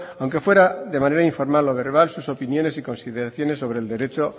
aunque fuera de manera informal o verbal sus opiniones y consideraciones sobre el derecho